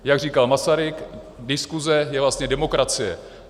Jak říkal Masaryk, diskuse je vlastně demokracie.